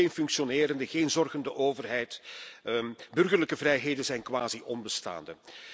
Er is geen functionerende, zorgende overheid, burgerlijke vrijheden zijn quasi onbestaande.